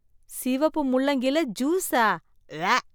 சிவப்பு முள்ளங்கில ஜூஸா? உவ்வ